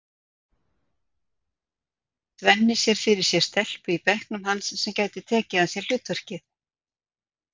Svenni sér fyrir sér stelpu í bekknum hans sem gæti tekið að sér hlutverkið.